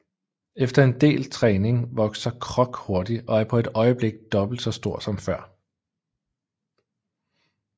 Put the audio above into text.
Efter en del træning vokser Croc hurtigt og er på et øjeblik dobbelt så stor som før